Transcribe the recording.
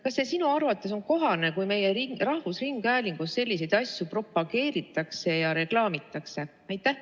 Kas sinu arvates on kohane, kui meie rahvusringhäälingus selliseid asju propageeritakse ja reklaamitakse?